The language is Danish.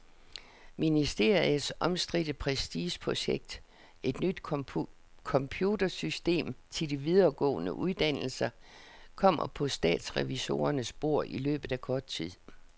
Ministeriets omstridte prestigeprojekt, et nyt computersystem til de videregående uddannelser, kommer på statsrevisorernes bord i løbet af kort tid.